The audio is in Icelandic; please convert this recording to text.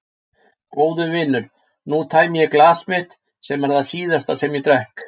Góðu vinir, nú tæmi ég glas mitt sem er það síðasta sem ég drekk.